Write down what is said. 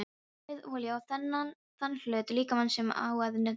Berið olíu á þann hluta líkamans sem á að nudda.